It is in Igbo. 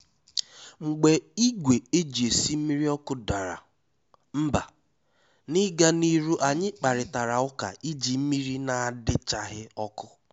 Mgbé ìgwè éjí èsí mmírí ọ́kụ́ dàrá mbá, n’ígá n’írú ànyị́ kpárítàrá ụ́ká íjí mmírí nà-àdíchághí ọ́kụ́.